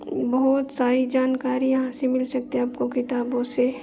बहुत सारी जानकारी यहां से मिल सकती है आपको किताबो से।